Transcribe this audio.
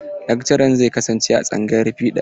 Lakcaran zai kasance a tsangayar fiɗa.